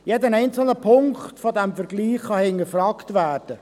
Jeder einzelne Punkt dieses Vergleichs kann hinterfragt werden.